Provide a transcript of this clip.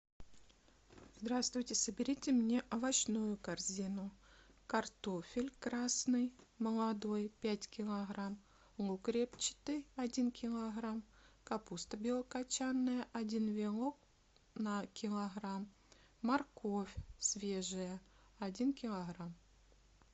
здравствуйте соберите мне овощную корзину картофель красный молодой пять килограмм лук репчатый один килограмм капуста белокочанная один вилок на килограмм морковь свежая один килограмм